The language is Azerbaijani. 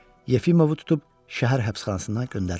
Yefimovu tutub şəhər həbsxanasına göndərirlər.